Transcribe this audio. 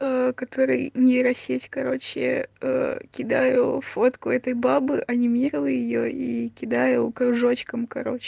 который нейросеть короче кидаю фотку этой бабы онимировала её и кидаю кружочком короче